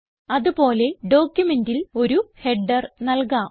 അത് പോലെ ഡോക്യുമെന്റിൽ ഒരു ഹെഡർ നൽകാം